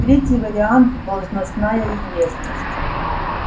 третий вариант должностная известность